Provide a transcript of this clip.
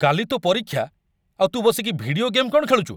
କାଲି ତୋ' ପରୀକ୍ଷା, ଆଉ ତୁ ବସିକି ଭିଡିଓ ଗେମ୍ କ'ଣ ଖେଳୁଚୁ?